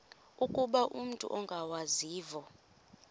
ukuba umut ongawazivo